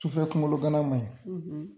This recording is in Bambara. Sufɛ kunkolo gana manɲi